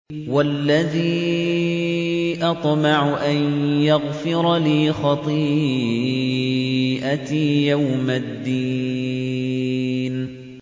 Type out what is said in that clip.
وَالَّذِي أَطْمَعُ أَن يَغْفِرَ لِي خَطِيئَتِي يَوْمَ الدِّينِ